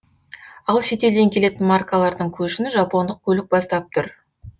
ал шетелден келетін маркалардың көшін жапондық көлік бастап тұр